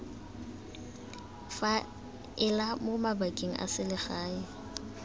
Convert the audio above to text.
faela mo mabakeng a selegae